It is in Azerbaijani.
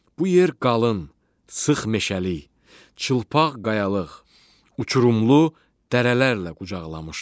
Bu yer qalın, sıx meşəli, çılpaq qayalıq, uçurumlu dərələrlə qucaqlamışdı.